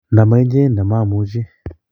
ndo ma inye ndoma omucho